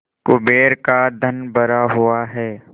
कुबेर का धन भरा हुआ है